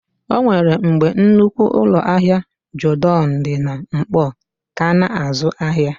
O nwere mgbe nnukwu ụlọ ahịa Jodọn dị na Nkpọọ kà ná-azụ ahịa.